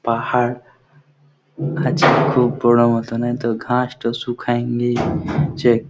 পাহাড় আছে খুব বড় মতোন তো ঘাস টা সুখায় নি যে--